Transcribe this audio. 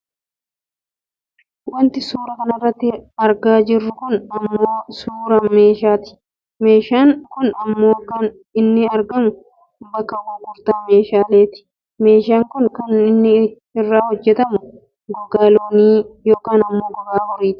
Wanti suuraa kanarratti argaa jiru kun ammoo suuraa meeshaati. Meeshaan kun ammoo kan inni argamu bakka gurgurtaa meeshaaleetti. Meeshaan kun kan inni irraa hojjatamu gogaa loonii yookaan ammoo gogaa horiiti.